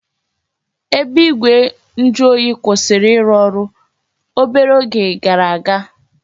Ebe igwe njuoyi kwụsịrị ịrụ ọrụ obere oge gara aga